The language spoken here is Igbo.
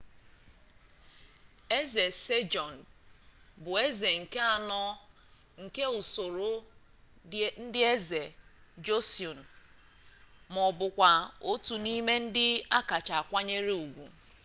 eze sejong bụ eze nke anọ nke usoro ndi eze joseon ma ọ bụkwa otu n'ime ndị a kacha akwanyere ugwu